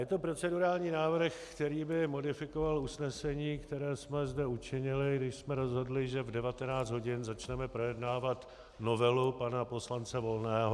Je to procedurální návrh, který by modifikoval usnesení, které jsme zde učinili, když jsme rozhodli, že v 19 hodin začneme projednávat novelu pana poslance Volného.